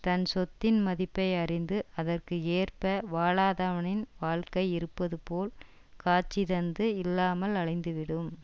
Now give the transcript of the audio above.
தன் சொத்தின் மதிப்பை அறிந்து அதற்கு ஏற்ப வாழாதவனின் வாழ்க்கை இருப்பது போல் காட்சி தந்து இல்லாமல் அழிந்துவிடும்